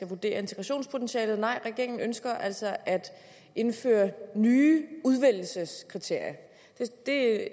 vurdere integrationspotentialet nej regeringen ønsker altså at indføre nye udvælgelseskriterier det er